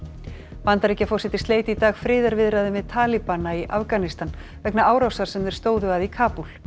Bandaríkjaforseti sleit í dag friðarviðræðum við talibana í Afganistan vegna árásar sem þeir stóðu að í Kabúl